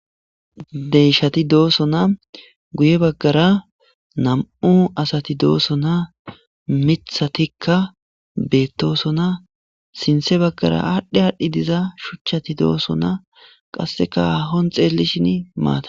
Deyshati dooso na guye baggara nam7u asati dooso na mithatikka beettooso na sinthe baggara aadhdhe aadhdhi diza shuchchati dooso na qasseka ahon xeellishin maata